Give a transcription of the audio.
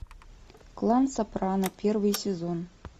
клан сопрано первый сезон